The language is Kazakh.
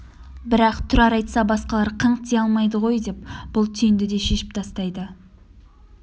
бірақ тұрар айтса басқалар қыңқ дей алмайды ғой деп бұл түйінді де шешіп тастайды